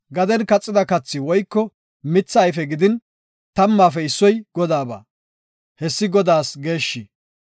Gaden kaxida kathi woyko mitha ayfe gidin tammaafe issoy Godaaba. Hessi Godaas geeshshi.